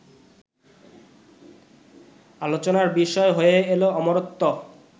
আলোচনার বিষয় হয়ে এল অমরত্ব